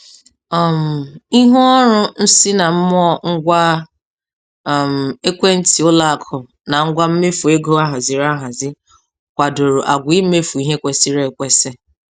um Ihuọrụ nsinammụọ ngwa um ekwentị ụlọakụ na ngwa mmefu ego ahaziri ahazi kwadoro àgwà imefu ihe kwesịrị ekwesị. um